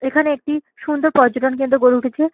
এখানে একটি সুন্দর পর্যটন কেন্দ্র গড়ে উঠেছে।